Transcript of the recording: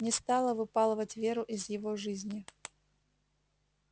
не стала выпалывать веру из его жизни